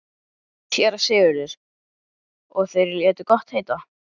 SÉRA SIGURÐUR: Og þeir létu gott heita?